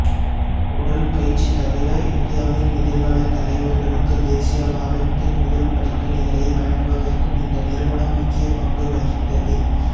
உடல் பயிற்சி தவிர இந்தியாவின் எதிர்கால தலைவர்களுக்கு தேசியவாதத்தின் முதல் படிப்பினைகளை வழங்குவதற்கும் இந்த நிறுவனம் முக்கிய பங்கு வகித்தது